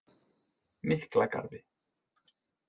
Miklagarði